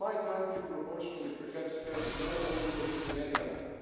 My country proportionally perhaps has more border police than any other